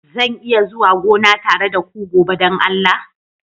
Zan iya zuwa gona tare da ku gobe don Allah?